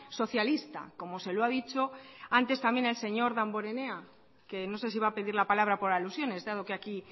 socialista como se lo ha dicho antes también al señor damborenea que no sé si va a pedir la palabra por alusiones dado que aquí